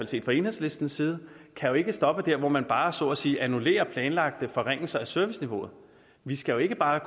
set fra enhedslistens side ikke stoppe dér hvor man bare så at sige annullerer planlagte forringelser af serviceniveauet vi skal jo ikke bare